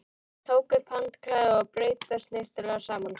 Tók upp handklæðið og braut það snyrtilega saman.